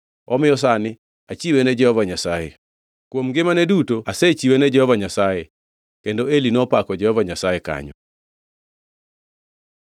Omiyo sani achiwe ne Jehova Nyasaye. Kuom ngimane duto asechiwe ne Jehova Nyasaye.” Kendo Eli nopako Jehova Nyasaye kanyo.